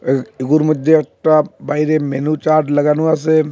এ-এগুর মধ্যে একটা বা-বাইরে মেনু চার্ট লাগানো আসে ।